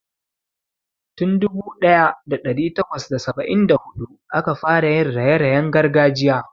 Tun dubu daya da dari takwas da saba'in da hudu aka fara yin raye-rayen gargajiya.